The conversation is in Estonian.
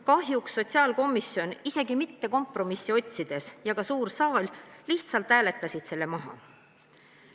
Kahjuks sotsiaalkomisjon ei püüdnud isegi mitte kompromissi otsida ja ka suur saal lihtsalt hääletas selle maha.